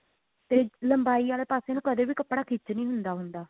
ਤੇ ਲੰਬਾਈ ਵਾਲੇ ਪਾਸੇ ਨੂੰ ਕਦੇ ਵੀ ਕੱਪੜਾ ਖਿੱਚ ਨਹੀਂ ਹੁੰਦਾ ਹੁੰਦਾ